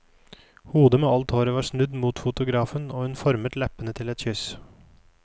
Hodet med alt håret var snudd mot fotografen og hun formet leppene til et kyss.